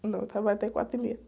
Não, eu trabalho até quatro e meia.